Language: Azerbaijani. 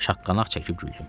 Şaqqanaq çəkib güldüm.